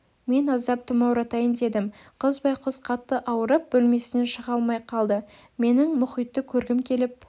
мен аздап тұмауратайын дедім қыз байғұс қатты ауырып бөлмесінен шыға алмай қалды менің мұхитты көргім келіп